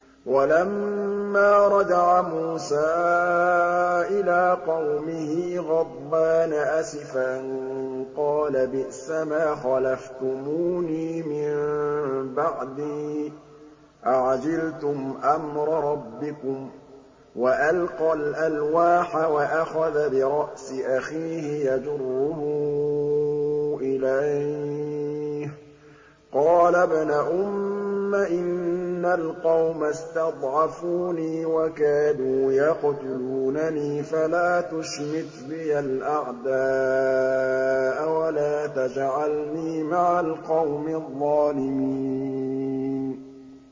وَلَمَّا رَجَعَ مُوسَىٰ إِلَىٰ قَوْمِهِ غَضْبَانَ أَسِفًا قَالَ بِئْسَمَا خَلَفْتُمُونِي مِن بَعْدِي ۖ أَعَجِلْتُمْ أَمْرَ رَبِّكُمْ ۖ وَأَلْقَى الْأَلْوَاحَ وَأَخَذَ بِرَأْسِ أَخِيهِ يَجُرُّهُ إِلَيْهِ ۚ قَالَ ابْنَ أُمَّ إِنَّ الْقَوْمَ اسْتَضْعَفُونِي وَكَادُوا يَقْتُلُونَنِي فَلَا تُشْمِتْ بِيَ الْأَعْدَاءَ وَلَا تَجْعَلْنِي مَعَ الْقَوْمِ الظَّالِمِينَ